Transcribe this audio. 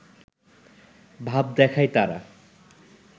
ভাব দেখায় তারা